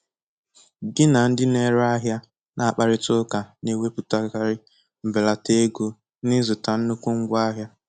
Gị na ndị na-ere ahịa na-akparịta ụka na-ewepụtakarị mbelata ego n'ịzụta nnukwu ngwa ahịa.